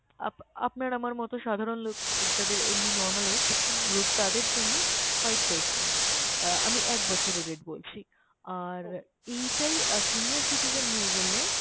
Up~ আপনার আমার মতো সাধারণ লোক যাদের এমনি normal age group তাদের জন্য five percent। আহ আমি এক বছরের rate বলছি। আর এইটাই আহ senior citizen হয়ে গেলে